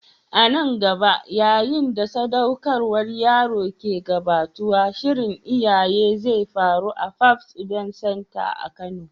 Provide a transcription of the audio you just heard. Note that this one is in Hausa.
A nan gaba, yayin da sadaukarwar yaro ke gabatowa, shirin iyali zai faru a Fabs Event center a kano.